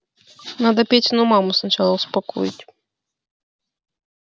надо петину маму сначала успокоить